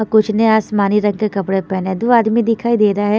Up कुछ नया आसमानी रंग का कपड़ा पहने दो आदमी दिखाई दे रहा है।